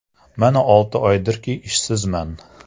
Mana olti oydirki ishsizman.